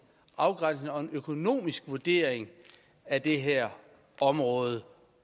afgrænsende og en økonomisk vurdering af det her område